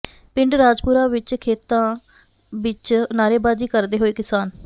ਪਿੰਡ ਰਾਜਪੁਰਾ ਵਿੱਚ ਖੇਤਾਂ ਵਿੱਚ ਨਾਅਰੇਬਾਜ਼ੀ ਕਰਦੇ ਹੋਏ ਕਿਸਾਨ